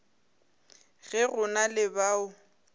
ge go na le bao